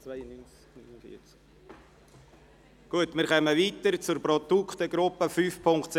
Damit kommen wir zur Produktegruppe 5.7.6.